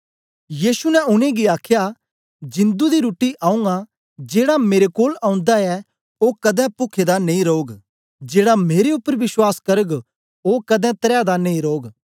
यीशु ने उनेंगी आखया जिंदु दी रुट्टी आऊँ आं जेड़ा मेरे कोल ओंदा ऐ ओ कदें पुखे दा नेई रौग जेड़ा मेरे उपर विश्वास करग ओ कदें तरैह दा नेई रौग